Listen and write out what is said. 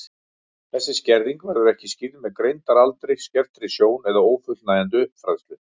Þessi skerðing verður ekki skýrð með greindaraldri, skertri sjón eða ófullnægjandi uppfræðslu.